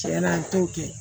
Tiɲɛna an t'o kɛ